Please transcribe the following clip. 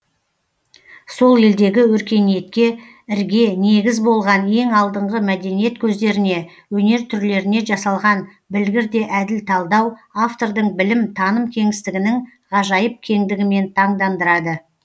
сол елдегі өркениетке ірге негіз болған ең алдыңғы мәдениет көздеріне өнер түрлеріне жасалған білгір де әділ талдау автордың білім таным кеңістігінің ғажайып кеңдігімен таңдандырады